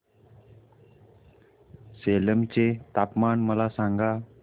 सेलम चे तापमान मला सांगा